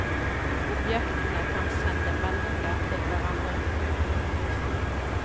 Objektene kan sende meldinger til hverandre.